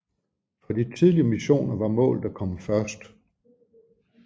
For de tidlige missioner var målet at komme først